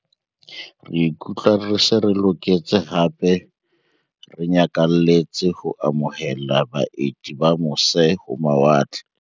"Re ikutlwa re se re loketse hape re nyakalletse ho amo hela baeti ba mose-ho-mawa tle."